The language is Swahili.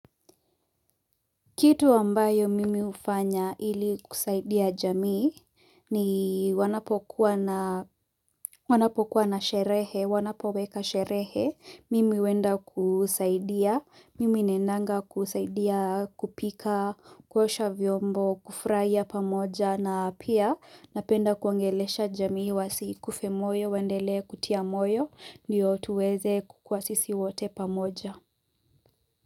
Kitu ambayo mimi hufanya ili kusaidia jamii ni wanapokuwa na sherehe, wanapoweka sherehe, mimi huenda kusaidia, mimi naendanga kusaidia kupika, kuosha vyombo, kufurahia pamoja na pia napenda kunogeleesha jamii wasikufe moyo, wendele kutia moyo, ndiyo tuweze kukua sisi wote pamoja.